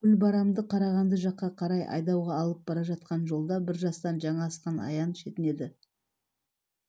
гүлбарамды қарағанды жаққа қарай айдауға алып бара жатқан жолда бір жастан жаңа асқан аян шетінеді